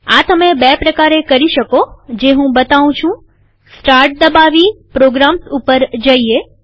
આ તમે બે પ્રકારે કરી શકો જે હું બતાઉં છુંસ્ટાર્ટ દબાવીપ્રોગ્રામ્સ ઉપર જઈએ